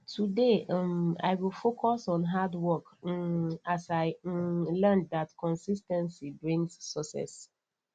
today um i go focus on hard work um as i um learned that consis ten cy brings success